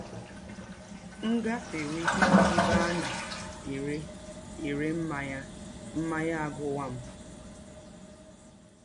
M gafewe ebe a na - ere ere mmanya, mmanya agụwa m.